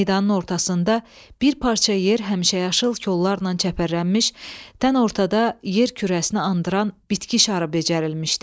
Meydanın ortasında bir parça yer həmişəyaşıl kollarla çəpərlənmiş, tən ortada yer kürəsini andıran bitki şarı becərilmişdi.